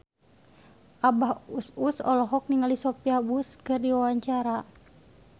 Abah Us Us olohok ningali Sophia Bush keur diwawancara